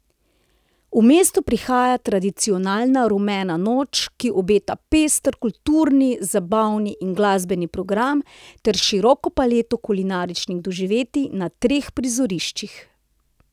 V mesto prihaja tradicionalna Rumena noč, ki obeta pester kulturni, zabavni in glasbeni program ter široko paleto kulinaričnih doživetij na treh prizoriščih.